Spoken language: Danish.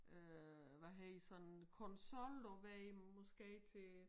Øh hvad hedder sådan konsol du ved måske ikke